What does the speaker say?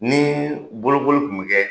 Ni bolokoli tun bɛ kɛ.